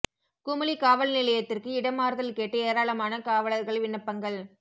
குமுளி காவல் நிலையத்திற்கு இட மாறுதல் கேட்டு ஏராளமான காவலா்கள் விண்ணப்பங்கள்